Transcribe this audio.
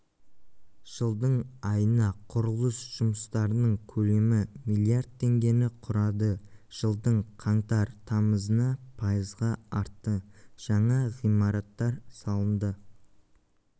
жылдың айына құрылыс жұмыстарының көлемі миллиард теңгені құрады жылдың қаңтар-тамызына пайызға артты жаңа ғимараттар салынды